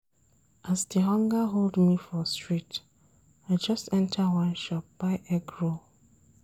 As di hunger hold me for street, I just enta one shop buy egg roll.